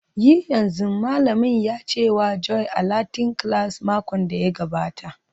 Yi yanzu!, Malamin ya ce wa Joy a Latin class makon da ya gabata